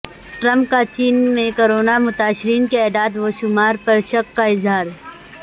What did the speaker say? Trump کا چین میں کرونا متاثرین کے اعداد و شمار پر شک کا اظہار